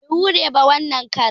Bai yi hure ba wanan karan